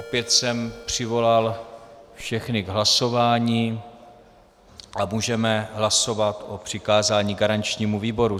Opět jsem přivolal všechny k hlasování a můžeme hlasovat o přikázání garančnímu výboru.